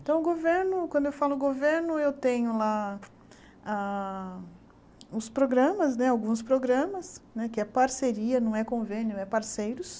Então, o governo, quando eu falo governo, eu tenho lá ah ah os programas né, alguns programas, que é parceria, não é convênio, é parceiros.